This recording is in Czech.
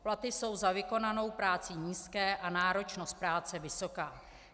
Platy jsou za vykonanou práci nízké a náročnost práce vysoká.